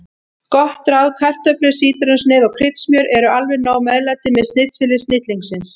Gott ráð: Kartöflur, sítrónusneið og kryddsmjör eru alveg nóg meðlæti með snitseli snillingsins.